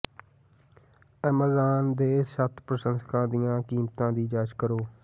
Amazon ਦੇ ਛੱਤ ਪ੍ਰਸ਼ੰਸਕਾਂ ਦੀਆਂ ਕੀਮਤਾਂ ਦੀ ਜਾਂਚ ਕਰੋ